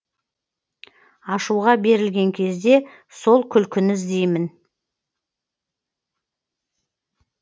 ашуға берілген кезде сол күлкіні іздеймін